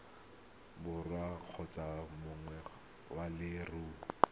borwa kgotsa moagi wa leruri